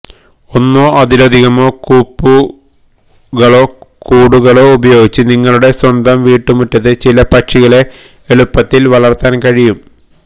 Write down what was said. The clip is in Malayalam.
ഒന്നോ അതിലധികമോ കൂപ്പുകളോ കൂടുകളോ ഉപയോഗിച്ച് നിങ്ങളുടെ സ്വന്തം വീട്ടുമുറ്റത്ത് ചില പക്ഷികളെ എളുപ്പത്തിൽ വളർത്താൻ കഴിയും